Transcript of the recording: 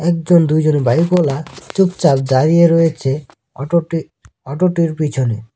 একজন দুইজন বাইক -ওয়ালা চুপচাপ দাঁড়িয়ে রয়েছে অটোটি অটোটির পিছনে।